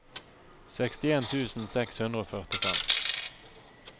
sekstien tusen seks hundre og førtifem